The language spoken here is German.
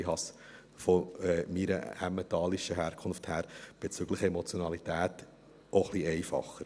Ich habe es von meiner Emmentaler Herkunft her bezüglich Emotionalität auch etwas einfacher.